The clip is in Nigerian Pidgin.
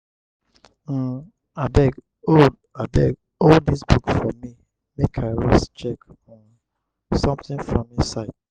um abeg hold abeg hold dis book for me make i rush check um something from inside.